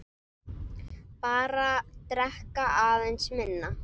Bara drekka aðeins minna.